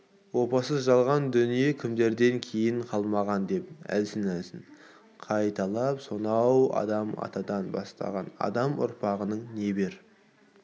опасыз жалған дүние кімдерден кейін қалмаған деп әлсін-әлсін кайталап сонау адам атадан басталған адам ұрпағының небір